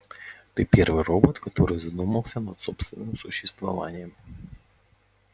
ты первый робот который задумался над собственным существованием